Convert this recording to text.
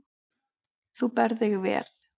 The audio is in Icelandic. Þú berð þig vel.